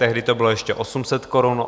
Tehdy to bylo ještě 800 korun.